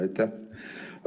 Aitäh!